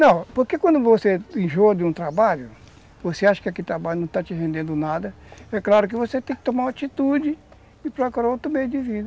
Não, porque quando você enjoa de um trabalho, você acha que aquele trabalho não está te rendendo nada, é claro que você tem que tomar uma atitude e procurar outro meio de vida.